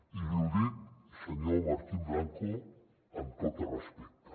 i li ho dic senyor martín blanco amb tot el respecte